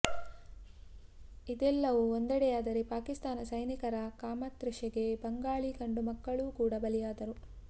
ಇದೆಲ್ಲವೂ ಒಂದೆಡೆಯಾದರೆ ಪಾಕಿಸ್ತಾನ ಸೈನಿಕರ ಕಾಮತೃಷೆಗೆ ಬಂಗಾಳಿ ಗಂಡುಮಕ್ಕಳೂ ಕೂಡ ಬಲಿಯಾದರು